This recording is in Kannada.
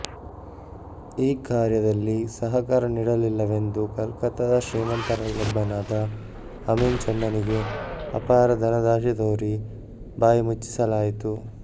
ಈ ಕಾರ್ಯದಲ್ಲಿ ಸಹಕಾರ ನೀಡಲಿಲ್ಲವೆಂದು ಕಲ್ಕತ್ತದ ಶ್ರೀಮಂತರಲ್ಲೊಬ್ಬನಾದ ಅಮೀನ್ ಚಂದನಿಗೆ ಅಪಾರ ಧನದಾಶೆ ತೋರಿ ಬಾಯಿ ಮುಚ್ಚಿಸಲಾಯಿತು